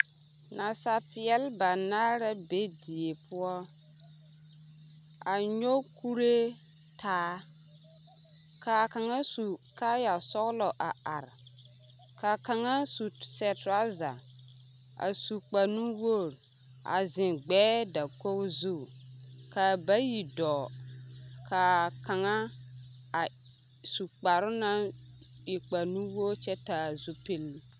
Nasapeɛle banaare la be die poɔ a nyɔge kuree taa k'a kaŋa su kaaya sɔgelɔ a are ka kaŋa sɛ toraza a su kpare nu-wogiri a zeŋ gbɛɛ dakogi zu ka bayi dɔɔ ka kaŋa a su kparoŋ naŋ e nu-wogiri kyɛ taa zupili.